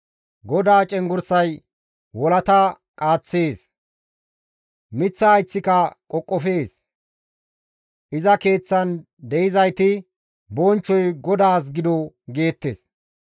GODAA cenggurssay wolata qaaththees; miththa hayththika qoqofees. Iza Keeththan de7izayti, «Bonchchoy GODAAS gido» geettes.